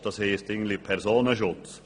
Das heisst eigentlich Personenschutz.